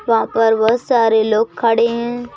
वहां पर बहुत सारे लोग खड़े हैं।